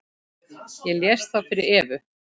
Ég les það fyrir Evu.